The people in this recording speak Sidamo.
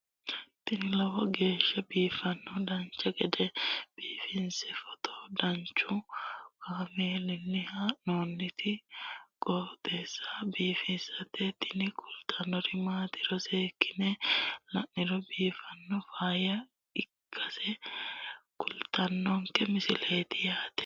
tini lowo geeshsha biiffannoti dancha gede biiffanno footo danchu kaameerinni haa'noonniti qooxeessa biiffannoti tini kultannori maatiro seekkine la'niro biiffannota faayya ikkase kultannoke misileeti yaate